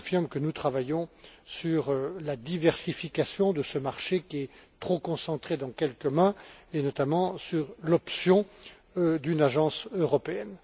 Je confirme que nous travaillons sur la diversification de ce marché, qui est trop concentré dans quelques mains et, notamment, sur l'option d'une agence européenne.